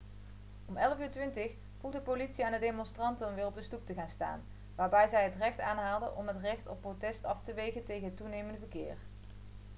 om 11:20 vroeg de politie aan de demonstranten om weer op de stoep te gaan staan waarbij zij het recht aanhaalde om het recht op protest af te wegen tegen het toenemende verkeer